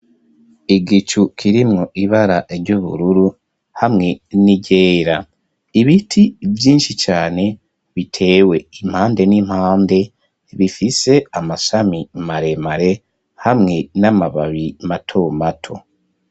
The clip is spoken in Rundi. Igicu kirimwo ibara ry'ubururu hamwe n'iryera, ibiti vyinshi cane bitewe impande n'impande ,bifise amasami maremare hamwe n'amababi mato mato.